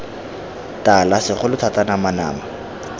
tala segolo thata nama nama